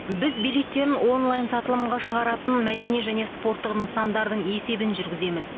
біз билеттерін онлайн сатылымға шығаратын мәдени және спорттық нысандардың есебін жүргіземіз